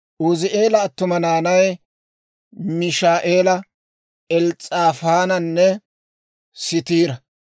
Uuzi'eela attuma naanay, Mishaa"eela, Els's'aafaananne Siitira.